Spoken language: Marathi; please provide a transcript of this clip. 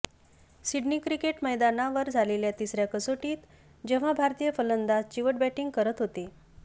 सिडनी क्रिकेट मैदानावर झालेल्या तिसऱ्या कसोटीत जेव्हा भारतीय फलंदाज चिवट बॅटिंग करत होते